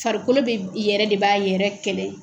Farikolo bɛ yɛrɛ de b'a yɛrɛ kɛlɛ.